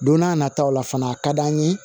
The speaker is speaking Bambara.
Don n'a nataw la fana a ka d'an ye